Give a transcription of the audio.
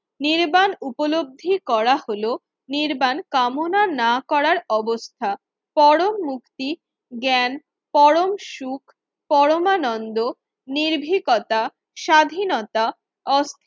নির্বাণ উপলব্ধি করা হলো নির্বাণ কামনা না করার অবস্থা। পরম মুক্তি জ্ঞান পরম সুখ পরমানন্দ নির্ভীকতা স্বাধীনতা ওস